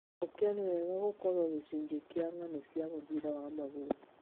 Gokĩo nĩ wega gũkorwo gĩcunjĩ kĩa ng'ano cia mũbira wa magũrũ."